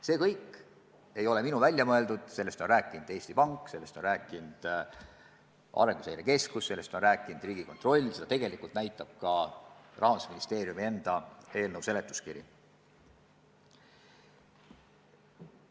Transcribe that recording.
See kõik ei ole minu välja mõeldud, sellest on rääkinud Eesti Pank, sellest on rääkinud Arenguseire Keskus, sellest on rääkinud Riigikontroll, seda tegelikult näitab ka Rahandusministeeriumi enda eelnõu seletuskiri.